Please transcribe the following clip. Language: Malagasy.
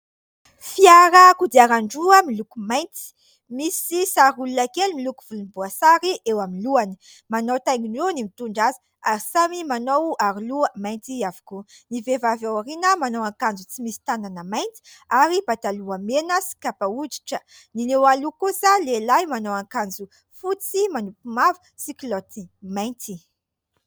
Fiara kodiaran-droa miloko mainty, misy sary olona kely miloko volomboasary eo amin'ny lohany. Manao taingin-droa ny mitondra azy, ary samy manao aroloha mainty avokoa. Ny vehivavy ao aoriana manao akanjo tsy misy tanana mainty ary pataloha mena sy kapa hoditra. Ny eo aloha kosa lehilahy manao akanjo fotsy manopy mavo sy kilaoty mainty.